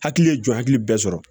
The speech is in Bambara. Hakili ye jɔn hakili bɛ sɔrɔ